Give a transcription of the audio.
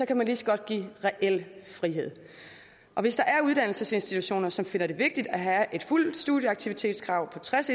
kan man lige så godt give reel frihed og hvis der er uddannelsesinstitutioner som finder det vigtigt at have et fuldt studieaktivitetskrav på tres